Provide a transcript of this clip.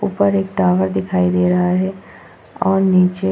ऊपर एक टावर दिखाई दे रहा है और नीचे --